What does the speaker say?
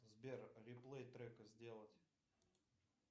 сбер реплей трека сделать